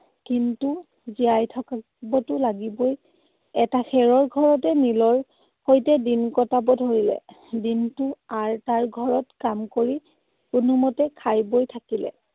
কিন্তু জীয়াই থাকিবতো লাগিবই। এটা খেৰৰ ঘৰতে নীলৰ সৈতে দিন কটাব ধৰিলে। দিনটো আৰ তাৰ ঘৰত কাম কৰি কোনোমতে খাই বৈ থাকিলে।